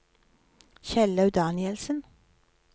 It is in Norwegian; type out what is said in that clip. Kjellaug Danielsen